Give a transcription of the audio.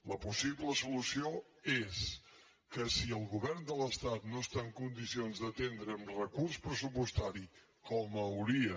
la pos·sible solució és que si el govern de l’estat no està en condicions d’atendre amb recurs pressupostari com hauria